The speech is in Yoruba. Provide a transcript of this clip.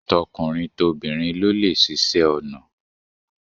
Tokunrin tobinrin ló lè ṣiṣe onà